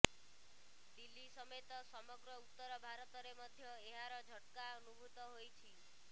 ଦିଲ୍ଳୀ ସମେତ ସମଗ୍ର ଉତ୍ତର ଭାରତରେ ମଧ୍ୟ ଏହାର ଝଟ୍କା ଅନୁଭୂତ ହୋଇଛି